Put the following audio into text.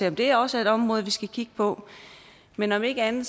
om det også er et område vi skal kigge på men om ikke andet